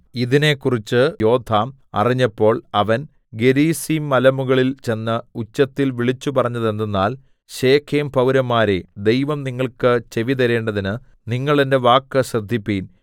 ഇതിനെക്കുറിച്ച് യോഥാം അറിഞ്ഞപ്പോൾ അവൻ ഗെരിസീംമലമുകളിൽ ചെന്ന് ഉച്ചത്തിൽ വിളിച്ചുപറഞ്ഞതെന്തെന്നാൽ ശെഖേംപൌരന്മാരേ ദൈവം നിങ്ങൾക്ക് ചെവി തരേണ്ടതിന് നിങ്ങൾ എന്റെ വാക്ക് ശ്രദ്ധിപ്പിൻ